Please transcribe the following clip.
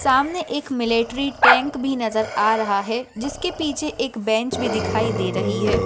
सामने एक military tank भी नजर आ रहा है जिसके पीछे एक बेंच दिखाई दे रही है।